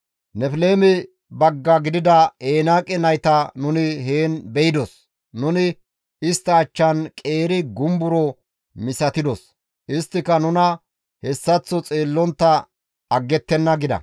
Nefleeme bagga gidida Enaaqe nayta nuni heen beydos; nuni istta achchan qeeri gumbaro misatidos; isttika nuna hessaththo xeellontta aggettenna» gida.